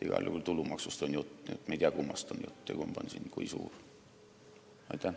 Igal juhul on jutt tulumaksust, aga me ei tea, kummast räägitakse ja kui suur kumbki siin on.